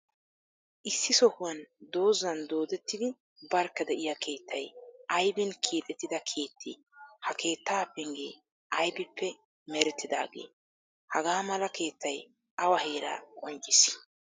Issi sohuwan dozan doodettidi barkka de'iyaa keettay, aybin keexettida keettee? Ha keettaa penggee aybippe merettidaagee? Haga mala keettaay awa heeraa qonccissii?